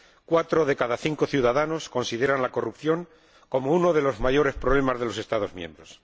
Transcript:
Cuatro de cada cinco ciudadanos consideran la corrupción como uno de los mayores problemas de los Estados miembros.